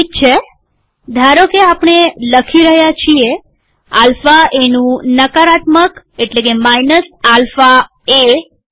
ઠીક છેધારોકે આપણે લખી રહ્યા છીએ આલ્ફા એનું નકારાત્મક માઈનસ આલ્ફા એ છે